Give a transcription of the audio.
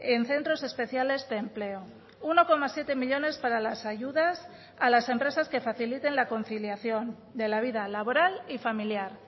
en centros especiales de empleo uno coma siete millónes para las ayudas a las empresas que faciliten la conciliación de la vida laboral y familiar